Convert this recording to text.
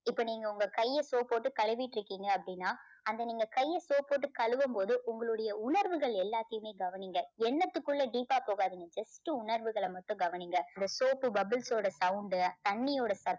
இப்போ நீங்க உங்க கைய soap போட்டு கழுவிட்டு இருக்கீங்க அப்படின்னா அந்த நீங்க கைய soap போட்டு கழுவும் போது உங்களுடைய உணர்வுகள் எல்லாத்தையுமே கவனிங்க. எண்ணத்துக்குள்ள deep ஆ போகாதீங்க just உணர்வுகளை மட்டும் கவனிங்க. அந்த soap bubbles ஓட sound தண்ணியோட